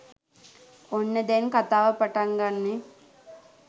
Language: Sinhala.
ඔන්න දැන් කතාව පටන් ගන්නෙ